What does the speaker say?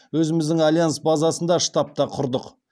өзіміздің альянс базасында штаб та құрдық